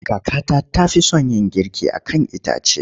Kakata ta fi son yin girki a kan itace.